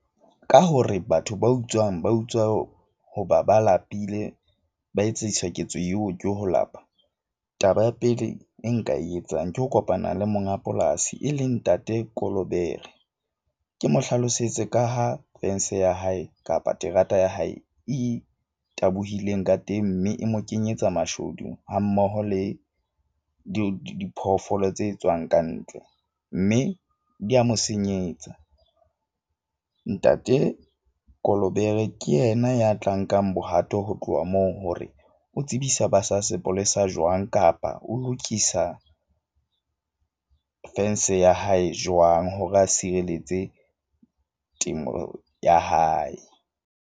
Ka hore batho ba utswang ba utswa ho hoba ba lapile, ba etsiswa ketso eo ke ho lapa. Taba ya pele e nka e etsang ke ho kopana le monga polasi e leng ntate Kolobere. Ke mo hlalosetse ka ha fence ya hae kapa terata ya hae e tabohile ka teng. Mme e mo kenyetsa mashodu hammoho le diphoofolo tse tswang ka ntle. Mme di a mo senyetsa. Ntate Kolobere ke yena ya tla nkang bohato ho tloha moo hore o tsebisa ba sa sepolesa jwang kapa o lokisa fence ya hae jwang, hore a sireletse temo ya hae.